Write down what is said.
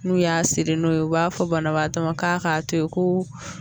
N'u y'a seri n'u ye u b'a fɔ banabaatɔ ma ka to yen ko